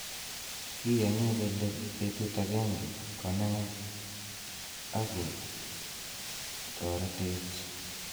Kiyoni kele betut agenge konaech ak kotoretech.